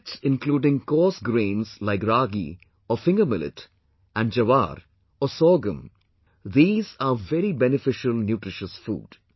Millets including coarse grains like Ragi/Finger Millet and Jowar/ Sorghum... these are very beneficial nutritious food